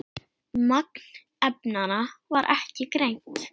Magn efnanna var ekki greint.